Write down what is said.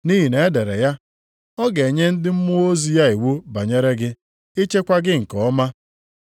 Nʼihi na e dere ya, “ ‘Ọ ga-enye ndị mmụọ ozi ya iwu banyere gị, ichekwa gị nke ọma;